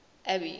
abby